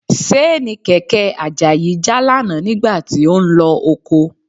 Ṣéènì kẹ̀kẹ́ Àjàyí já lánàá nígbà tí ó ń lọ oko